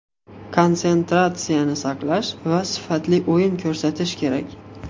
Konsentratsiyani saqlash va sifatli o‘yin ko‘rsatish kerak.